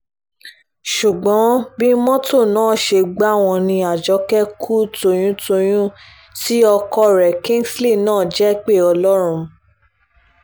ṣùgbọ́n bí mọ́tò náà ṣe gbà wọ́n ní àjọké kú tóyún-tọ̀yún tí ọkọ rẹ̀ kingsley náà sì jẹ́pẹ́ ọlọ́run